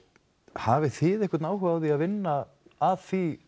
hafið þið einhvern áhuga á að vinna að því